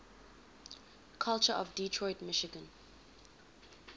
culture of detroit michigan